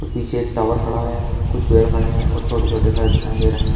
पीछे टावर खड़ा है कुछ पेड़ खड़े है और छोटे छोटे घर दिखाई दे रहे हैं।